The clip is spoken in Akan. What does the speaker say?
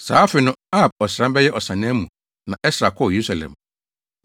Saa afe no, Ab ɔsram (bɛyɛ Ɔsannaa) mu na Ɛsra kɔɔ Yerusalem.